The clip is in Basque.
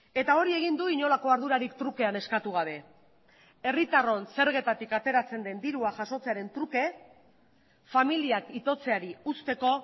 eta hori egin du inolako ardurarik trukean eskatu gabe herritarron zergetatik ateratzen den dirua jasotzearen truke familiak itotzeari uzteko